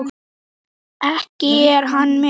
Ekki er hann með?